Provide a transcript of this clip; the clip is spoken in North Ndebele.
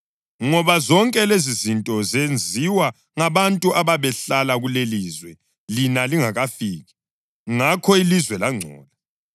ngoba zonke lezizinto zenziwa ngabantu ababehlala kulelilizwe lina lingakafiki, ngakho ilizwe langcola.